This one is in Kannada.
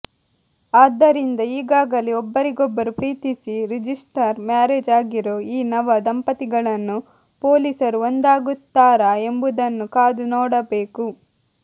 ಆದ್ದರಿಂದ ಈಗಾಗಲೇ ಒಬ್ಬರಿಗೊಬ್ಬರು ಪ್ರೀತಿಸಿ ರಿಜಿಸ್ಟರ್ ಮ್ಯಾರೇಜ್ ಆಗಿರೋ ಈ ನವ ದಂಪತಿಗಳನ್ನು ಪೊಲೀಸರು ಒಂದಾಗುತ್ತಾರಾ ಎಂಬುದನ್ನು ಕಾದು ನೋಡಬೇಕು